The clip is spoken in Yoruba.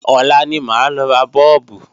Ọ̀la ní máa lọ ra Bọ́ọ̀bù